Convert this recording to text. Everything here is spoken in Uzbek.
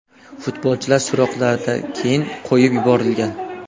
Futbolchi so‘roqlardan keyin qo‘yib yuborilgan.